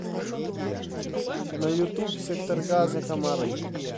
на ютуб сектор газа комары